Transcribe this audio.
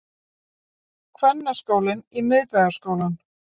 Kvennaskólinn í Miðbæjarskólann